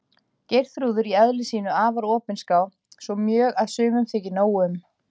Geirþrúður í eðli sínu afar opinská, svo mjög að sumum þykir nóg um.